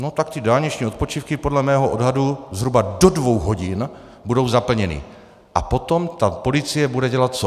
No tak ty dálniční odpočívky podle mého odhadu zhruba do dvou hodin budou zaplněny a potom ta policie bude dělat co?